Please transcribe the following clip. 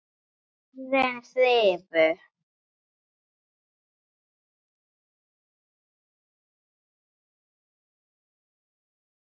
Orðin hrifu.